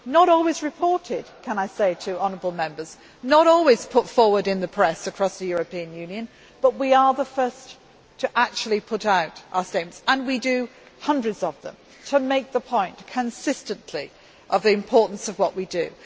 Not always reported, may I say, not always put forward in the press across the European Union, but we are the first to actually put out our statements and we produce hundreds of them to make the point consistently of the importance of what we do